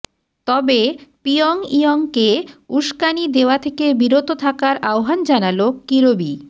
তবে পিয়ংইয়ংকে উস্কানি দেওয়া থেকে বিরত থাকার আহ্বান জানান কিরবি